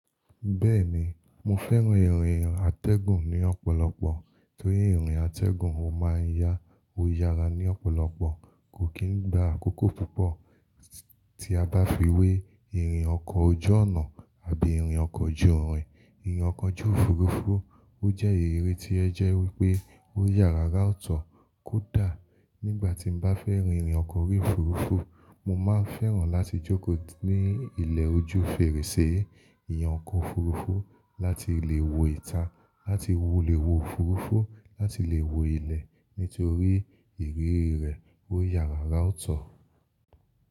Bẹ́ẹ̀ni, mo fẹ́ràn ìrìn àtẹ̀gùn ní ọ̀pọ̀lọpọ̀, torí ìrìn àtẹ̀gùn ó máa ń yá o yàrá ní ọ̀pọ̀lọpọ̀, kò kí n gba àkókò púpọ̀ tí a bá fi wé ìrìn ọkọ̀ ojú-ọ̀nà àbí ìrìn ọkọ̀ ojú-ìrìn. Ìrìn ọkọ̀ ojú òfuurufú, ó jẹ́ ìrírí tí ẹ jẹ́ wípé ó yára rátọ̀ kódà nígbà tí mo bá fẹ́ rìn ìrìn ọkọ̀ ojú òfuurufú, mo máa ń fẹ́ràn láti jókòó ní ilẹ̀ ojú fèrèsé ìyan ọkọ̀ òfuurufú láti lè wo ìta, láti lè wo òfuurufú, láti lè wo ilẹ̀ nítorí ìrírí rẹ̀ ó yára ra o tọ̀.